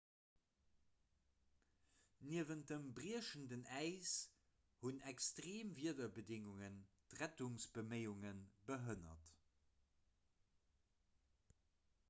niewent dem briechenden äis hunn extreem wiederbedéngungen d'rettungsbeméiunge behënnert